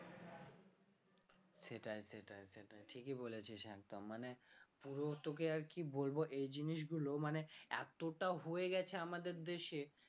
সেটাই সেটাই সেটাই ঠিকই বলেছিস একদম মানে পুরো তোকে আর কি বলব এই জিনিসগুলো মানে এতটা হয়ে গেছে আমাদের দেশে